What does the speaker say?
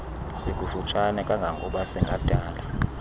sikufutshane kangangoba singadala